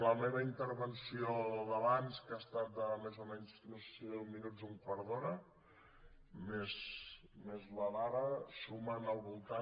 la meva intervenció d’abans que ha estat més o menys de no sé si deu minuts o un quart d’hora més la d’ara sumen al voltant